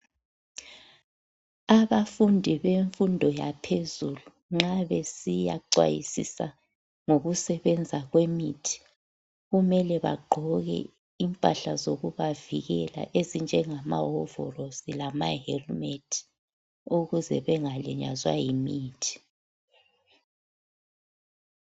Abafundi bemfundo yaphezulu nxa besiya xwayisisa ngokusebenza kwemithi , kumele bagqoke imphahla zokubavikela ezinjengama hovolosi lamahelimethi ukuze bengalinyazwa yimithi.